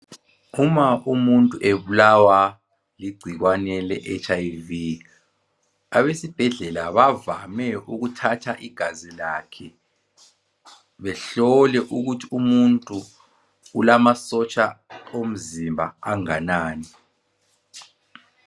Uma umuntu ebulawa ligcikwane le hiv abesibhedlela bavame ukuthatha igazi lakhe behlole ukuthi umuntu ulamasotsha omzimba anganani